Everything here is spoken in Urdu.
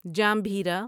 جامبھیرا